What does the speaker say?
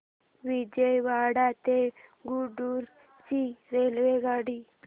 विजयवाडा ते गुंटूर ची रेल्वेगाडी